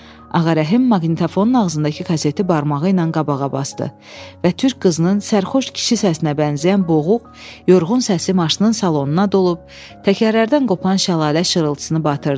Ağarəhim maqnitofonun ağzındakı kaseti barmağı ilə qabağa basdı və türk qızının sərxoş kişi səsinə bənzəyən boğuq, yorğun səsi maşının salonuna dolub, təkərlərdən qopan şəlalə şırıltısını batırdı.